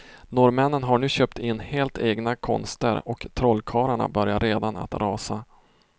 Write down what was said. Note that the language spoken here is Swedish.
Norrmännen har nu köpt in helt egna konster och trollkarlarna börjar redan att rasa.